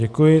Děkuji.